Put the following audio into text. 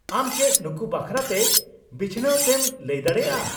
-ᱟᱢ ᱪᱮᱫ ᱱᱩᱠᱩ ᱵᱟᱠᱷᱨᱟ ᱛᱮ ᱵᱤᱪᱷᱱᱟᱹᱣ ᱛᱮᱢ ᱞᱟᱹᱭ ᱫᱟᱲᱮᱭᱟᱜᱼᱟ ?